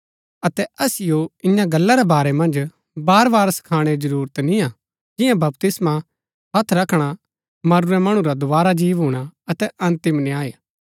अतै असिओ इन्या गल्ला रै बारै मन्ज बार बार सखाणै री जरूरत निय्आ जियां बपतिस्मा हत्थ रखणा मरूरै मणु रा दोवारा जी भूणा अतै अन्तिम न्याय